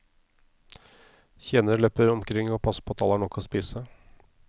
Tjenere løper omkring og passer på at alle har nok å spise.